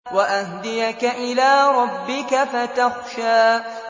وَأَهْدِيَكَ إِلَىٰ رَبِّكَ فَتَخْشَىٰ